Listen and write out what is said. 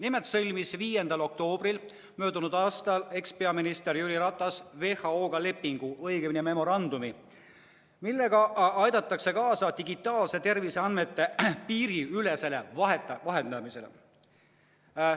Nimelt sõlmis ekspeaminister Jüri Ratas 5. oktoobril möödunud aastal WHO-ga lepingu, õigemini memorandumi, millega aidatakse kaasa digitaalsete terviseandmete piiriülesele vahendamisele.